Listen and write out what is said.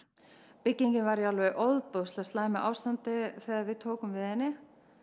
byggingin var í alveg ofboðslega slæmu ástandi þegar við tókum við henni